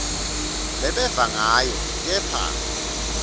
lebeva ngayo kepha